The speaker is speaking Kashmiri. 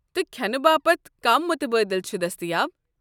تہٕ كھینہٕ باپت كم مُتبٲدِل چھِ دستیاب؟